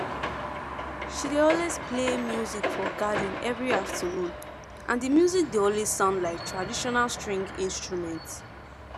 she dey always play music for garden every afternoon and di music dey always sound like traditional string instrument